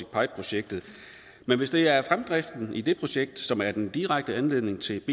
projektet men hvis det er fremdriften i det projekt som er den direkte anledning til